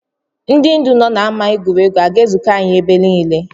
Ndị ndu nọ n’ámá egwuregwu, ha ga-ezuko anyị ebe niile?